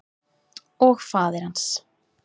Og faðir hans.